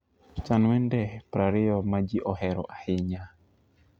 chan wende 20 ma ji ohero ahinya